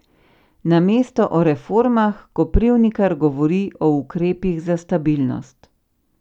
Namesto o reformah Koprivnikar govori o ukrepih za stabilnost.